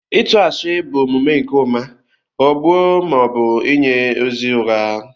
Ịtu ashi bụ omume nke ụma ghọgbuo ma ọ bụ inye ozi ụgha.